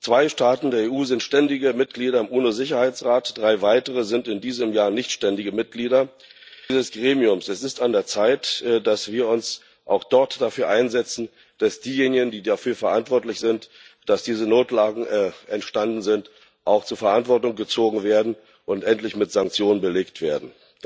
Zwei Staaten der EU sind ständige Mitglieder im UNO Sicherheitsrat, drei weitere sind in diesem Jahr nichtständige Mitglieder dieses Gremiums. Es ist an der Zeit, dass wir uns auch dort dafür einsetzen, dass diejenigen, die dafür verantwortlich sind, dass diese Notlagen entstanden sind, auch zur Verantwortung gezogen und endlich mit Sanktionen belegt werden.